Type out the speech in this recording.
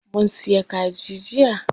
Mun siya kaji jiya.